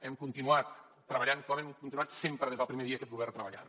hem continuat treballant com hem continuat fent sempre des del primer dia aquest govern treballant